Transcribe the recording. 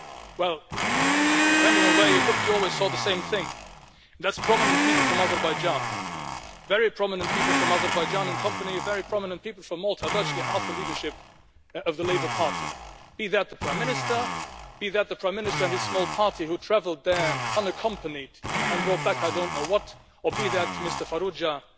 Well, depending on where you looked, you always saw the same thing and that is prominent people from Azerbaijan very prominent people from Azerbaijan in the company of very prominent people from Malta virtually half the leadership of the Labour Party, be that the Prime Minister, be that the Prime Minister and his small party who travelled there unaccompanied and brought back I don't know what, or be that Mr Farrugia,